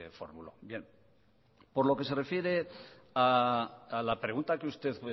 formuló bien por lo que se refiere a la pregunta que usted